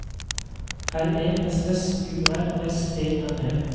R E S S U R S E N E